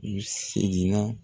U seginna